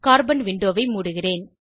carbon விண்டோவை மூடுகிறேன்